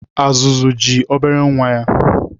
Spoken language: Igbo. Azụzụ ji obere nwa ya.